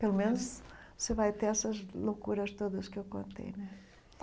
Pelo menos você vai ter essas loucuras todas que eu contei, né?